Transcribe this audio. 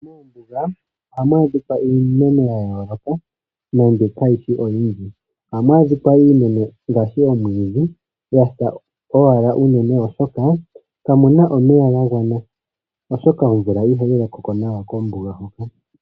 Moombuga ohamu adhika iimeno ya yooloka nande kayishi oyindji. Ohamu adhika iimeno ngaashi omwiidhi ya sa unene oshoka kamuna omeya ga gwana, oshoka omvula ihayi loko ko nawa kombuga.